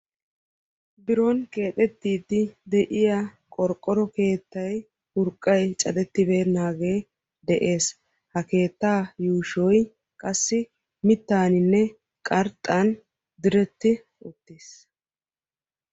Biron keexettiidi de'iyaa qorqqoro keettay urqqay cadettibenaagee de'ees. ha keettaa yuushshy qassi mittaaninne qarxxaan diretti uttiis.